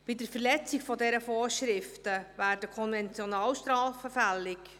Bei Verletzung dieser Vorschriften werden Konventionalstrafen fällig.